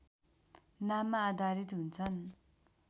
नाममा आधारित हुन्छन्